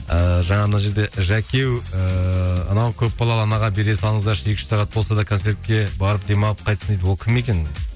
ыыы жаңа мына жерде жәке еу ыыы анау көпбалалы анаға бере салыңыздаршы екі үш сағат болса да концертке барып демалып қайтсын дейді ол кім екен